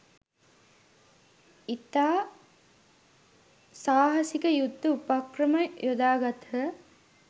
ඉතා සාහසික යුද උපක්‍රම යොදාගත්හ